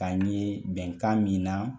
Ka n ye bɛnkan min na